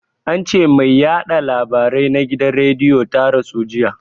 Ance mai yaɗa labarai na gidan rediyo ta rasu jiya